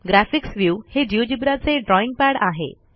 graphics view हे Geogebraचे drawing pad आहे